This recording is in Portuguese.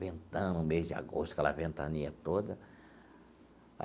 Ventando o mês de agosto, aquela ventania toda.